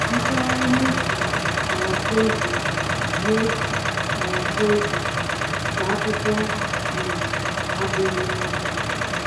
Ntụgharị n’efu (paraphrases) n’efu (paraphrases) nke akụkọ um abụghị ihe ọhụrụ.